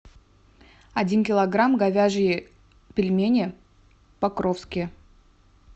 один килограмм говяжие пельмени покровские